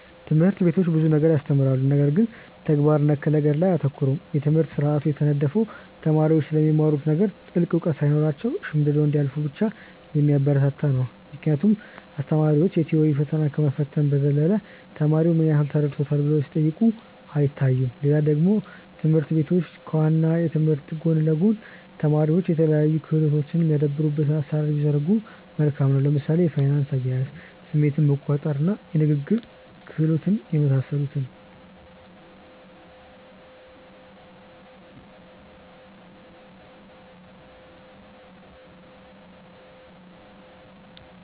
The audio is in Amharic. ትምህርት ቤቶች ብዙ ነገር ያስተምራሉ ነገር ግን ተግባር ነክ ነገር ላይ አያተኩሩም። የትምህርት ስርአቱ የተነደፈው ተማሪዎች ስለሚማሩት ነገር ጥልቅ እውቀት ሳይኖራቸው ሸምድደው እንዲያልፉ ብቻ የሚያበረታታ ነው ምክንያቱም አስተማሪዎች የ ቲዎሪ ፈተና ከመፈተን በዘለለ ተማሪው ምን ያህል ተረድቶታል ብለው ሲጠይቁ አይታዩም። ሌላ ደግሞ ትምህርት ቤቶች ከ ዋናው ትምህርት ጎን ለ ጎን ተማሪዎች የተለያዩ ክህሎቶች የሚያዳብሩበትን አሰራር ቢዘረጉ መልካም ነው። ለምሳሌ የፋይናንስ አያያዝ፣ ስሜትን መቆጣር፣ የንግግር ክህሎት የመሳሰሉትን